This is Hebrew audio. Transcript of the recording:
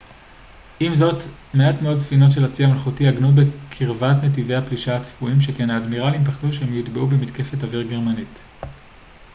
עם זאת מעט מאוד ספינות של הצי המלכותי עגנו בקרבת נתיבי הפלישה הצפויים שכן האדמירלים פחדו שהן יוטבעו במתקפת אוויר גרמנית